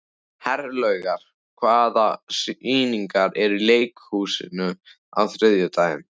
Herlaugur, hvaða sýningar eru í leikhúsinu á þriðjudaginn?